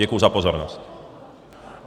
Děkuji za pozornost.